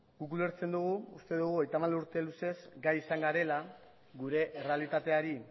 guk ulertzen dugu uste dugu hogeita hamar urte luzez gai izan garela gure errealitateari